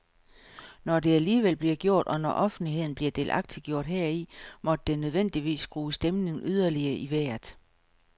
Når det alligevel blev gjort, og når offentligheden blev delagtiggjort heri, måtte det nødvendigvis skrue stemningen yderligere i vejret.